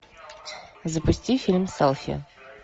запусти фильм селфи